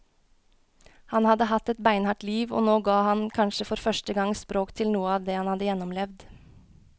Han hadde hatt et beinhardt liv, og nå ga han kanskje for første gang språk til noe av det han hadde gjennomlevd.